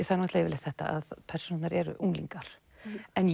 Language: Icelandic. það er yfirleitt þetta að persónurnar eru unglingar en